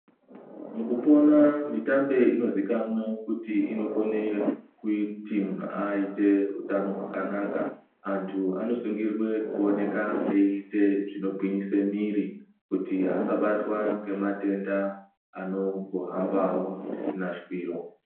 Mukupona mitambe inozikanwa kuti inokona kuti muntu aite hutano hwakanaka antu anosungirwe kuonekwa eiite zvinogwinyisa mwiri kuti asabata ngematenda anongohambawo zvisina shwiro.